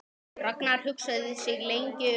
Ragnar hugsaði sig lengi um.